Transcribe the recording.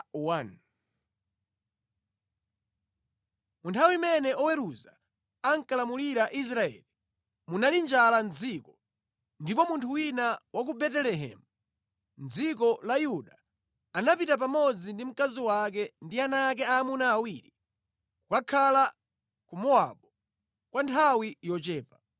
Mu nthawi imene oweruza ankalamulira Israeli, munali njala mʼdziko, ndipo munthu wina wa ku Betelehemu mʼdziko la Yuda anapita pamodzi ndi mkazi wake ndi ana ake aamuna awiri, kukakhala ku Mowabu kwa nthawi yochepa.